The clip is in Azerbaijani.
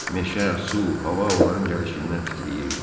Meşə, su, hava onların gəlişindən titrəyirdi.